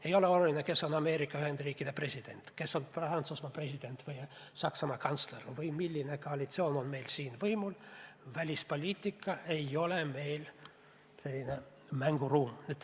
Ei ole oluline, kes on Ameerika Ühendriikide president, kes on Prantsusmaa president või Saksamaa kantsler või milline koalitsioon on meil siin võimul – välispoliitika ei ole meil mingi mänguruum.